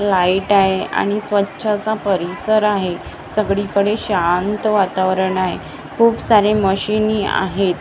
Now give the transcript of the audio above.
Light आहे आणि स्वच्छ असा परिसर आहे सगळीकडे शांत वातावरण आहे खूप सारे मशीनी आहेत.